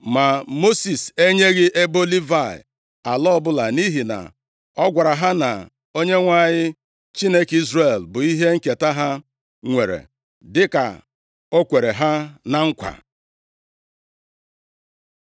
Ma Mosis enyeghị ebo Livayị ala ọbụla, nʼihi na ọ gwara ha na Onyenwe anyị, Chineke Izrel bụ ihe nketa ha nwere, dịka o kwere ha na nkwa.